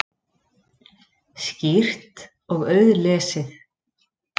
Skýrt og auðlesið.